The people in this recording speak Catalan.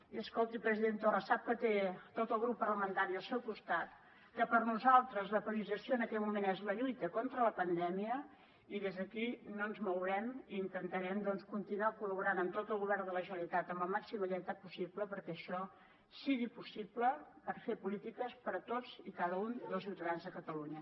i escolti president torra sap que té tot el grup parlamentari al seu costat que per nosaltres la priorització en aquest moment és la lluita contra la pandèmia i des d’aquí no ens mourem i intentarem doncs continuar col·laborant amb tot el govern de la generalitat amb la màxima lleialtat possible perquè això sigui possible per fer polítiques per a tots i cada un dels ciutadans de catalunya